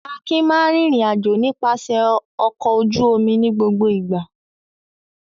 Akin máa ń rìnrìn-àjò nípasẹ̀ ọkọ̀ ojú-omi ní gbogbo ìgbà.